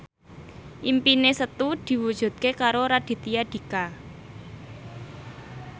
impine Setu diwujudke karo Raditya Dika